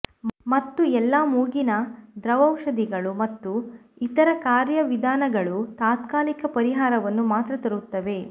ಮತ್ತು ಎಲ್ಲಾ ಮೂಗಿನ ದ್ರವೌಷಧಗಳು ಮತ್ತು ಇತರ ಕಾರ್ಯವಿಧಾನಗಳು ತಾತ್ಕಾಲಿಕ ಪರಿಹಾರವನ್ನು ಮಾತ್ರ ತರುತ್ತವೆ